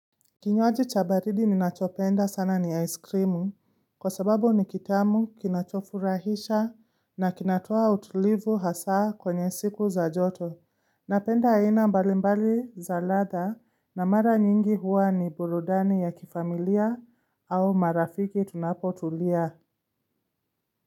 Kinywaji cha baridi ninachopenda sana ni aiskrimu kwa sababu ni kitamu kinachofurahisha na kinatoa utulivu hasaa kwenye siku za joto. Napenda aina mbalimbali za ladha na mara nyingi huwa ni burudani ya kifamilia au marafiki tunapotulia.